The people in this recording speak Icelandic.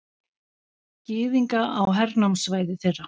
Gyðinga á hernámssvæði þeirra.